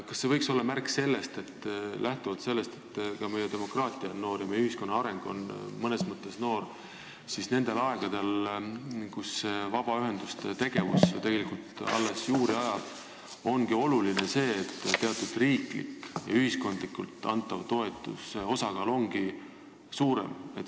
Kas see võiks olla märk sellest, et lähtuvalt meie demokraatia noorusest ja mõnes mõttes meie ühiskonna arengu noorusest ongi sellisel ajal, kui vabaühenduste tegevus alles juuri ajab, oluline see, et riiklikult ja ühiskondlikult antava toetuse osakaal on suurem?